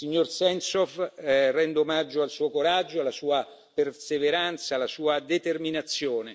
Signor Sentsov, rendo omaggio al suo coraggio, alla sua perseveranza e alla sua determinazione.